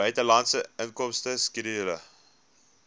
buitelandse inkomste skedule